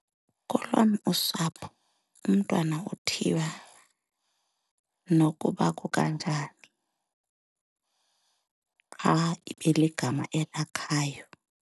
Kolwam usapho umntwana uthiywa nokuba kukanjani, qha ibe ligama elakhayo.